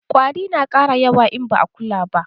Ƙwari na ƙara yawa in ba'a kula ba